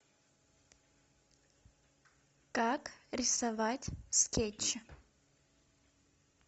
как рисовать скетчи